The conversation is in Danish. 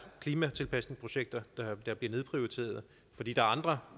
klimatilpasningsprojekter der bliver nedprioriteret fordi der er andre